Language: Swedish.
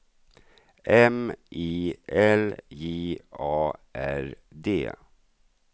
M I L J A R D